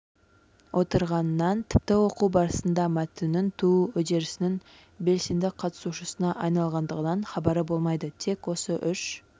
отырғанынан тіпті оқу барысында мәтіннің туу үдерісінің белсенді қатысушысына айналғандығынан хабары болмайды тек осы үш